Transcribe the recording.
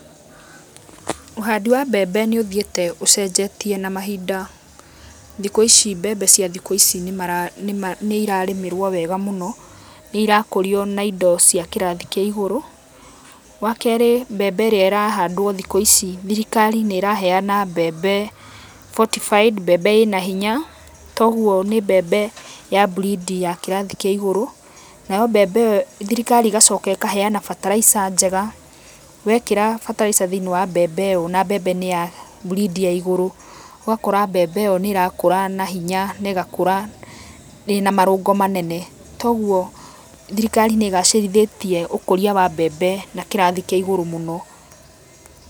Ũhandi wa mbembe nĩ ũthiĩte ũcenjetie na mahinda. Thikũ ici mbembe cia thikũ ici nĩirarĩmĩrwo wega mũno, nĩ irakũrio na indo cia kĩrathi kĩa igũrũ. Wa keerĩ mbembe ĩrĩa ĩrahandwo thikũ ici thirikari nĩ ĩraheeana mbembe fortified, mbembe ĩna hinya, toguo ni mbembe ya breed ya kĩrathi kĩa igũru, nayo mbembe ĩyo thirikari ĩgacoka ĩkaheana bataraica njega. Wekĩra bataraica thĩini wa mbembe ĩyo na mbembe nĩ ya breed ya igũrũ, ũgakora mbembe ĩyo nĩ ĩrakũra na hinya na ĩgakũra ĩna marũngo manene. Toguo thirikari nĩ ĩgacĩrithĩtie ũkũria wa mbembe na kĩrathi kĩa igũru mũno.